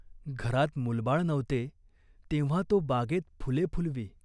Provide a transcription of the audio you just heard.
घरात मूलबाळ नव्हते, तेव्हा तो बागेत फुले फुलवी.